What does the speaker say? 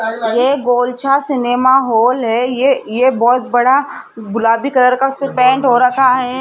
ये Golchha cinema hall है ये ये बहोत बड़ा गुलाबी कलर का उसपे पेंट हो रखा है।